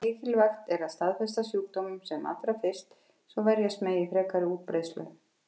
Mikilvægt er að staðfesta sjúkdóminn sem allra fyrst, svo verjast megi frekari útbreiðslu.